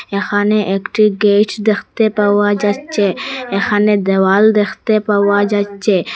এখানে একটি গেট দেখতে পাওয়া যাচ্ছে এখানে দেওয়াল দেখতে পাওয়া যাচ্ছে।